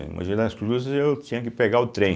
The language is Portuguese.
Em Mogi das Cruzes, eu tinha que pegar o trem.